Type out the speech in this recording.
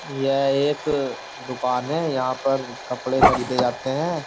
यह एक दुकान है यहाँ पर कपड़े खरीदे जाते हैं।